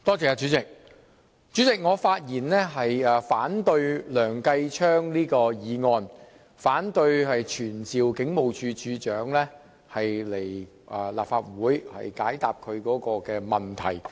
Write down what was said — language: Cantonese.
主席，我發言反對梁繼昌議員動議的議案，不贊成據此傳召警務處處長前來立法會解答其問題。